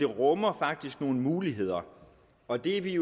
rummer nogle muligheder og det vi